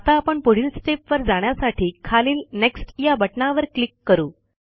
आता आपण पुढील स्टेप वर जाण्यासाठी खालील नेक्स्ट या बटणावर क्लिक करू